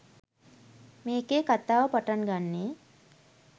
මේකේ කථාව පටන්ගන්නේ